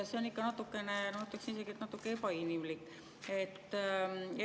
See on natukene, ma ütleksin isegi, ebainimlik.